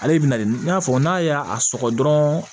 Ale bɛna nin fɔ n'a ye a sɔgɔ dɔrɔn